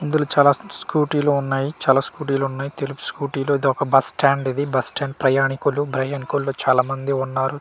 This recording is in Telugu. ఇందులో చాలా స్కూటీ లు ఉన్నాయి చాలా స్కూటీ ఉన్నాయి తెలుపు స్కూటీలు ఇది ఒక బస్ స్టాండ్ ఇది బస్ స్టాండ్ ప్రయాణికులు ప్రయాణికులు చాలా మంది ఉన్నారు.